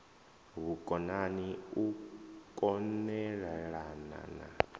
vhukonani u kon elelana na